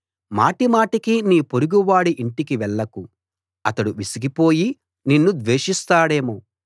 మాటిమాటికి నీ పొరుగువాడి ఇంటికి వెళ్లకు అతడు విసికిపోయి నిన్ను ద్వేషిస్తాడేమో